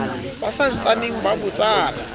ba sa ntsaneng ba botsana